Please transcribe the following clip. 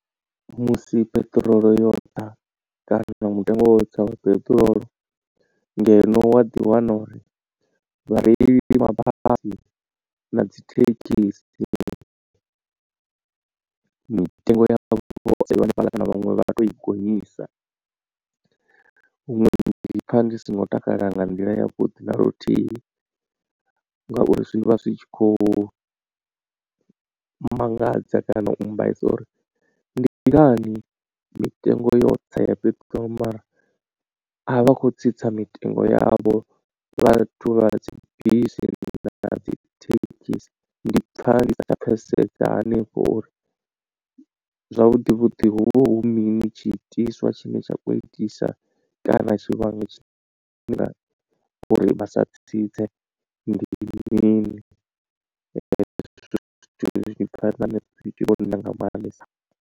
Musi peṱirolo yo tsa kana mutengo wo tsa wa peṱirolo ngeno wa ḓi wana uri vhareili vha mabasi na dzi thekhisi mitengo yavho hanefhaḽa kana vhaṅwe vha tou i gonyisa. Huṅwe ndi pfha ndi singo takala nga nḓila yavhuḓi na luthihi, ngauri zwi vha zwi tshi khou mangadza kana u mbaisa uri ndi ngani mitengo yo tsa ya fhethu mara avha akho tsitsa mitengo yavho vhathu vha dzibisi na dzi thekhisi. Ndi pfha ndi sa tsha pfhesesea hanefho uri zwavhuḓi vhuḓi hu vha hu mini tshi itiswa tshine tsha khou itisa kana tshivhangi nga uri vha sa tsitse ndi mini .